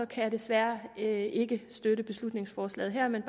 kan vi desværre ikke støtte beslutningsforslaget her men